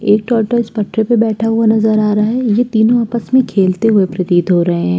एक टर्टल इस पटरे पर बैठा हुआ नजर आ रहा है। ये तीनों आपस में खेलते हुए प्रतीत हो रहे हैं।